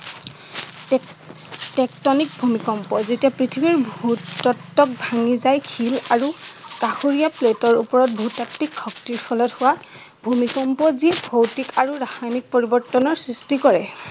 Tectonic ভূমিকম্পয় যেতিয়া পৃথিৱীৰ ভূ-তত্ত্বক ভাঙি যায় শিল আৰু কাষৰীয়া প্লেটৰ উপৰত ভূ-তাত্ত্বিক শক্তিৰ ফলত হোৱা ভূমিকম্প যি ভৌতিক আৰু ৰাসায়নিক পৰিৱৰ্তনৰ সৃষ্টি কৰে।